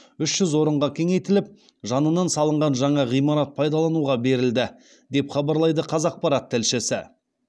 үш жүз орынға кеңейтіліп жанынан салынған жаңа ғимарат пайдалануға берілді деп хабарлайды қазақпарат тілшісі